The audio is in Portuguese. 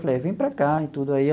Falei, vem para cá e tudo aí.